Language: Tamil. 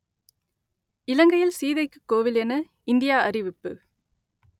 இலங்கையில் சீதைக்குக் கோவில் என இந்தியா அறிவிப்பு